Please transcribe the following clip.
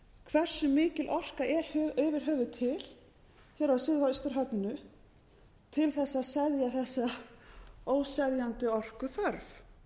hversu mikil orka er yfir höfuð til hér á suðvesturhorninu til þess að seðja þessa óseðjandi orkuþörf